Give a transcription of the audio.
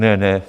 Ne, ne.